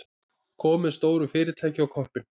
Komið stóru fyrirtæki á koppinn.